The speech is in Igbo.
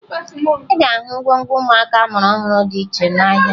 Ị ga-ahụ ngwongwo ụmụaka a mụrụ ọhụrụ dị iche iche n'ahịa